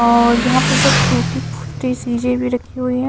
और यहां पे बहुत टूटी फूटी चीजें भी रखी हुई है।